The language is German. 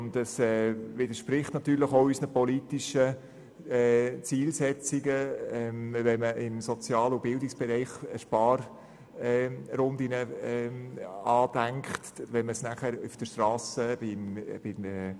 Natürlich widerspricht es unseren politischen Zielsetzungen, wenn man im Sozial- und Bildungsbereich Sparrunden andenkt, dies aber bei den Strassenprojekten nicht tut.